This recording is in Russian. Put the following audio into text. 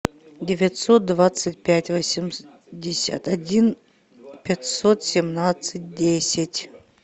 девятьсот двадцать пять восемьдесят один пятьсот семнадцать десять